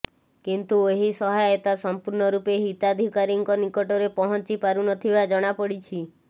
କିନ୍ତୁ ଏହି ସହାୟତା ସମ୍ପୂର୍ଣ୍ଣ ରୂପେ ହିତାଧିକାରୀଙ୍କ ନିକଟରେ ପହଁଞ୍ଚି ପାରୁ ନଥିବା ଜଣାପଡ଼ିଛି